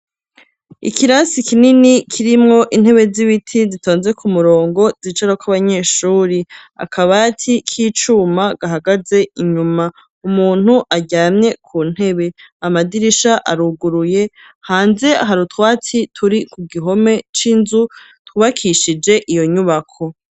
Ikirasi kinini kirimwo intebe z'ibiti zitonze ku murongo zicarako abanyeshure akabati k'icuma gahagaze inyuma; umuntu aryamye ku ntebe amadirisha aruguruye hanze hari utwatsi turi ku gihome c'inzu tubakishije iyo nyubako.